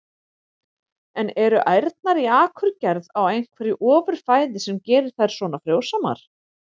En eru ærnar í Akurgerð á einhverju ofur fæði sem gerir þær svona frjósamar?